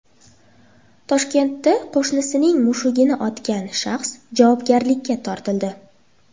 Toshkentda qo‘shnisining mushugini otgan shaxs javobgarlikka tortildi.